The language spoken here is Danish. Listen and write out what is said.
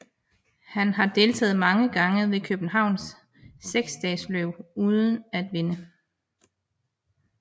Han har deltaget mange gange ved Københavns seksdagesløb uden at vinde